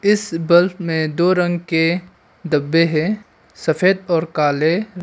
इस बल्ब में दो रंग के डब्बे हैं सफेद और काले।